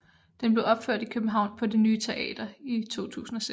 Den blev opført i København på Det Ny Teater i 2006